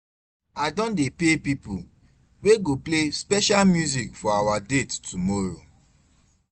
I don pay pipo wey go play special music for our date tomorrow.